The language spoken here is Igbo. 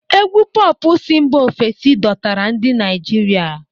Égwù Pọọpụ si mba ofesi dọtara ndị Naijiria.